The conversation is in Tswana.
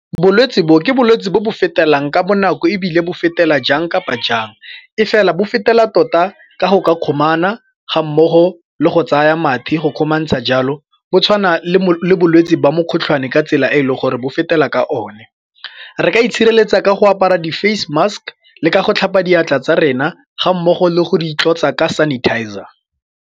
Bolwetsi bo ke bolwetsi bo bo fetelang ka bonako ebile bo fetela jang kapa jang e fela bo fetela tota ka go ka tlhomana ga mmogo le go tsaya mathe go kgomantsha jalo. Bo tshwana le bolwetsi ba mokgotlhwane ka tsela e e leng gore bo fetela ka o ne re ka itshireletsa ka go apara di-face mask le ka go tlhapa diatla tsa rena ga mmogo le go di itlotsa ka sanitizer.